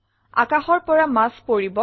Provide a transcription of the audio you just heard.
আকাশৰ পৰা মাছ পৰিব